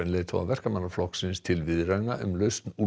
leiðtoga Verkamannaflokksins til viðræðna um lausn